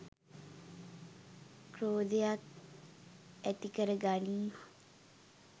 ක්‍රෝධයක් ඇතිකර ගනියි